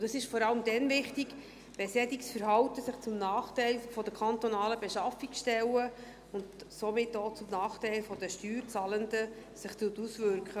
Das ist vor allem dann wichtig, wenn sich solches Verhalten zum Nachteil der kantonalen Beschaffungsstellen, und somit auch zum Nachteil der Steuerzahlenden, auswirkt.